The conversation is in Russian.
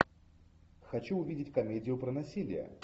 хочу увидеть комедию про насилие